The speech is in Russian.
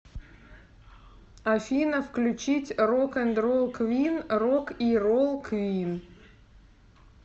афина включить рок энд ролл квин рок и ролл квин